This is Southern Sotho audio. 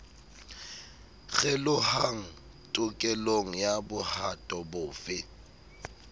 kgelohang tokelong ya bohato bofe